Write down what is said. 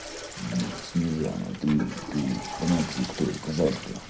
ну снежана ты ты по нации кто казашка